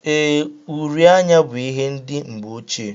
Ee, uri anya bú ihe ndị mgbe ochie